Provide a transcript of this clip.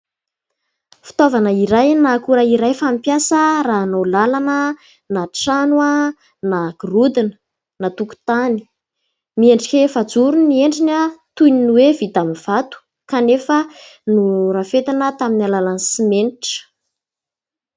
Fitaovana iray na akora iray fampiasa raha hanao làlana na trano na gorodona na tokotany. Miendrika efajoro ny endriny toy ny hoe vita amin'ny vato kanefa norafetina tamin'ny alalan'ny simenitra.